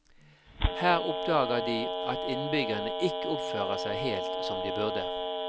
Her oppdager de at innbyggerne ikke oppfører seg helt som de burde.